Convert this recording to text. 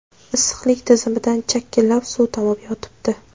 Issiqlik tizimidan chakillab suv tomib yotibdi.